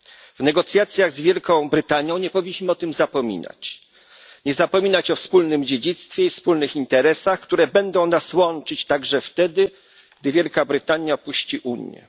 W negocjacjach z Wielką Brytanią nie powinniśmy o tym zapominać. Nie powinniśmy zapominać o wspólnym dziedzictwie i wspólnych interesach, które będą nas łączyć także wtedy, gdy Wielka Brytania opuści Unię.